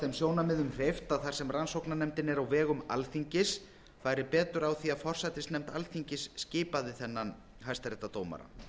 þeim sjónarmiðum hreyft að þar sem rannsóknarnefndin er á vegum alþingis færi betur á því að forsætisnefnd alþingis skipaði þennan hæstaréttardómara